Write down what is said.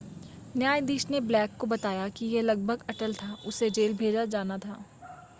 न्यायाधीश ने ब्लेक को बताया कि यह लगभग अटल था उसे जेल भेजा जाना था